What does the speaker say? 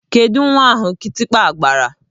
Kedụ nwa ahụ kịtịkpa gbara?